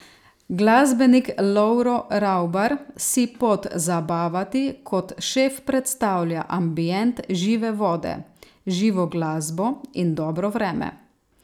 Glasbenik Lovro Ravbar si pod zabavati kot šef predstavlja ambient žive vode, živo glasbo in dobro vreme.